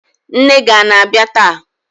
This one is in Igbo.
Nne gi ana bịa taa?